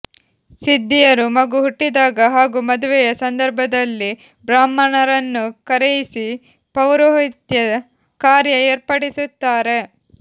ಸಿದ್ಧಿಯರು ಮಗು ಹುಟ್ಟಿದಾಗ ಹಾಗೂ ಮದುವೆಯ ಸಂದರ್ಭದಲ್ಲಿ ಬ್ರಾಹ್ಮಣರನ್ನು ಕರೆಯಿಸಿ ಪೌರೋಹಿತ್ಯ ಕಾರ್ಯ ಏರ್ಪಡಿಸುತ್ತಾರೆ